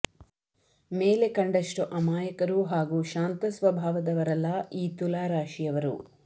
ಮೇಲೆ ಕಂಡಷ್ಟು ಅಮಾಯಕರು ಹಾಗೂ ಶಾಂತ ಸ್ವಭಾವದವರಲ್ಲ ಈ ತುಲಾ ರಾಶಿಯವರು